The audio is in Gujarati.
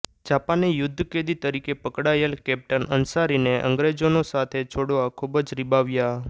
જાપાને યુદ્ધકેદી તરીકે પકડાયેલ કેપ્ટન અંસારીને અંગ્રેજોનો સાથે છોડવા ખૂબ જ રીબાવ્યા